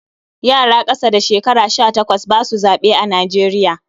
Yara ƙasa da shekara sha takwas ba su zaɓe a Najeriya.